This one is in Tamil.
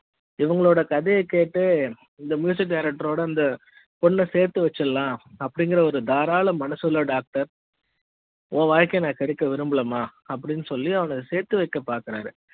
இவங்களோட கதை கேட்டு இந்த music director ஓட அந்த பொண்ண சேர்த்து வச்சஎல்லாம் அப்டி ங்குற ஒரு தாராள மனசுஉள்ள டாக்டர் உன் வாழ்க்கையை கெடுக்க விரும்பலமா அப்டின்னு சொல்லி அவளோடு சேர்த்து வைக்க பாக்குறாரு